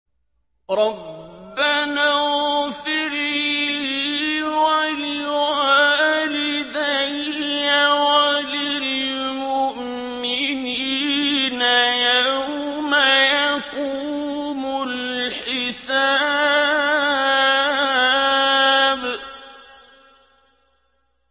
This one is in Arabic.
رَبَّنَا اغْفِرْ لِي وَلِوَالِدَيَّ وَلِلْمُؤْمِنِينَ يَوْمَ يَقُومُ الْحِسَابُ